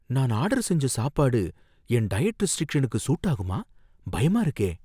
நான் ஆர்டர் செஞ்ச சாப்பாடு என் டயட் ரெஸ்ட்ரிக்ஷனுக்கு சூட் ஆகுமா? பயமா இருக்கே!